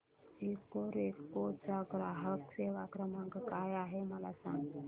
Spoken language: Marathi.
इकोरेको चा ग्राहक सेवा क्रमांक काय आहे मला सांग